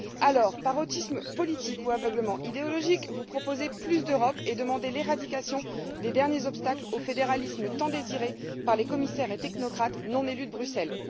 Or, par autisme politique ou aveuglement idéologique, vous proposez plus d'Europe et demandez l'éradication des derniers obstacles au fédéralisme tant désiré par les commissaires et technocrates non élus de Bruxelles.